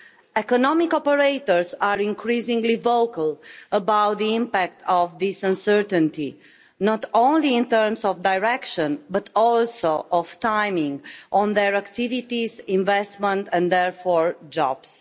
Economic operators are increasingly vocal about the impact of this uncertainty, in terms not only of direction but also of timing on their activities, investment and, therefore, jobs.